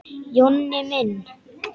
Jonni minn!